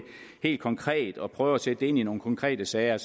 helt konkret og prøver at sætte det ind i nogle konkrete sager